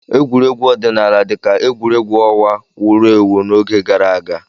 Egwuregwu ọdịnala dị ka egwuregwu ọnwa wụrụ ewu n'oge gara aga.